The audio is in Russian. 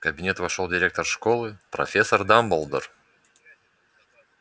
в кабинет вошёл директор школы профессор дамблдор